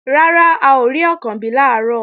Rárá, a ò rí Ọ̀kànbí làárọ̀